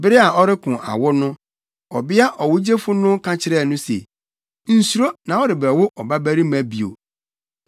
Bere a ɔreko awo no, ɔbea ɔwogyefo no ka kyerɛɛ no se, “Nsuro na worebɛwo ɔbabarima bio.”